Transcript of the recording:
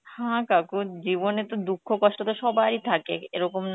হ্যাঁ কাকু জীবনে তো দুক্ষ কষ্ট তো সবার ই থাকে এরকম না